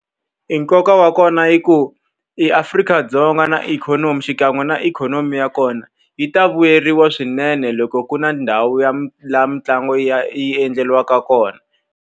E nkoka wa kona i ku eAfrika-Dzonga na ikhonomi xikan'we na ikhonomi ya kona, yi ta vuyeriwa swinene loko ku ri na ndhawu ya laha mitlangu yi ya yi endleriwaka kona.